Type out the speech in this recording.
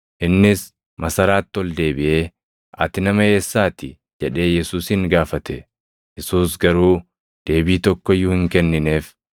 Innis masaraatti ol deebiʼee, “Ati nama eessaati?” jedhee Yesuusin gaafate. Yesuus garuu deebii tokko iyyuu hin kennineef.